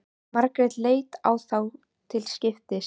Margrét leit á þá til skiptis.